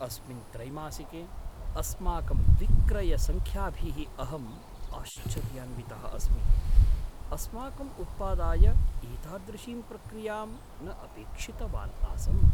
अस्मिन् त्रैमासिके अस्माकं विक्रयसङ्ख्याभिः अहम् आश्चर्यान्वितः अस्मि, अस्माकम् उत्पादाय एतादृशीं प्रतिक्रियां न अपेक्षितवान् आसम्।